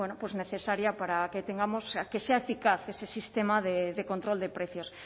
necesaria para que tengamos que sea eficaz ese sistema de control de precios